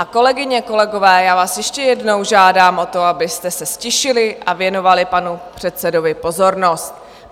A kolegyně, kolegové, já vás ještě jednou žádám o to, abyste se ztišili a věnovali panu předsedovi pozornost.